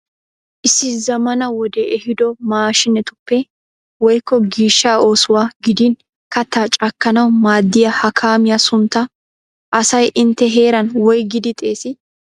Issi zammaana wodee ehiido maashinetuppe woykko gishshaa oosuwawu gidin kattaa cakkanawu maaddiya ha kaamiya sunttaa asay intte heeran woygidi xeesii?